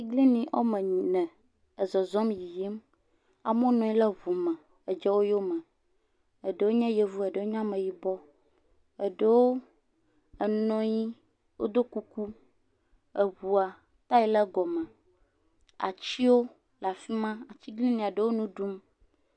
Atiglinyi woame ene ezɔzɔm le yiyim, amewo ne anyi le ŋu me edze wo yome, eɖewo nye yevuwo eɖewo nye ameyibɔ eɖewo nɔ anyi wo do kuku eŋua taya le egɔ me, atiwo le fi ma, atiglinyi ɖewo le nu ɖum.